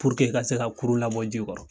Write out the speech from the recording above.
ka se ka kurun labɔ ji kɔrɔ.